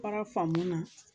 Kɔrɔ faamu na